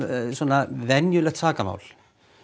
venjulegt sakamál